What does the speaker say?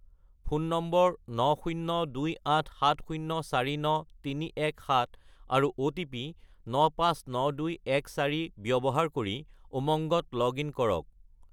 Phone number 90287049317 আৰু OTP 959214 ব্যৱহাৰ কৰি উমংগত লগ-ইন কৰক।